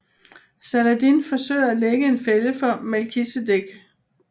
Saladin forsøger at lægge en fælde for Melkisedek